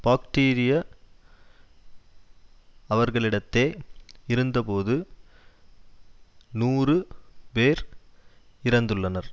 பாக்டீரிய அவர்களிடத்தே இருந்தபோது நூறு பேர் இறந்துள்ளனர்